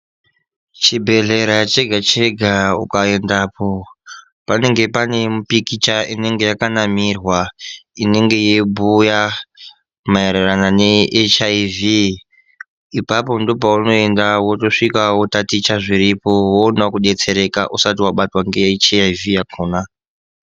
Chibhedhlera chega chega ukaendapo panenge pane mipikicha inenge yakanamirwa inenge yeyibhuya maererano neHIV ipapo ndoopunoenda wosvika wotaticha zviripo woonawo kubetsereka usati wabatwawo ngeHIV yakona.